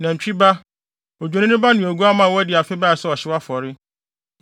nantwi ba, odwennini ne oguamma a wadi afe bae sɛ ɔhyew afɔre;